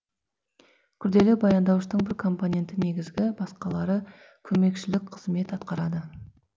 күрделі баяндауыштың бір компоненті негізгі басқалары көмекшілік кызмет атқарады